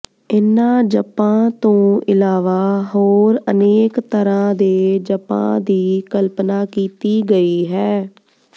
ਇਨ੍ਹਾਂ ਜਪਾਂ ਤੋਂ ਇਲਾਵਾ ਹੋਰ ਅਨੇਕ ਤਰ੍ਹਾਂ ਦੇ ਜਪਾਂ ਦੀ ਕਲਪਨਾ ਕੀਤੀ ਗਈ ਹੈ